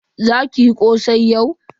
Za ki yi kosai yau.